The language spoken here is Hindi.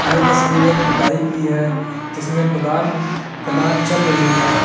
ये तस्वीर एक खुदाई की है जिसमें खुदान खदान चल रही है।